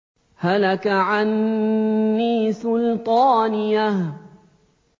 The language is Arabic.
هَلَكَ عَنِّي سُلْطَانِيَهْ